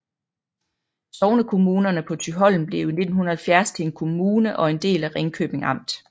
Sognekommunerne på Thyholm blev i 1970 til en kommune og en del af Ringkøbing Amt